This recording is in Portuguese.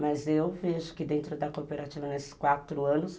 Mas eu vejo que dentro da cooperativa, nesses quatro anos,